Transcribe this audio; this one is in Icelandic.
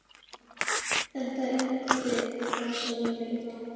Þetta er ekki það sem ég vildi.